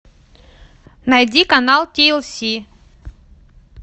найди канал ти эл си